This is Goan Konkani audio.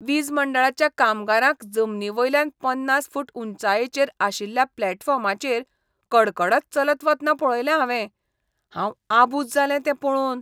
वीज मंडळाच्या कामगारांक जमनी वयल्यान पन्नास फूट उंचायेचेर आशिल्ल्या प्लॅटफॉर्माचेर कडकडत चलत वतना पळयले हांवें. हांव आबुज जालें तें पळोवन.